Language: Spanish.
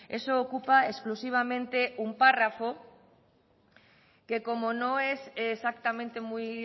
eso ocupa exclusivamente un párrafo que como no es exactamente muy